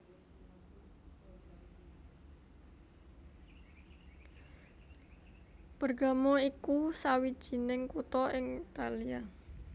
Bergamo iku sawijining kutha ing Italia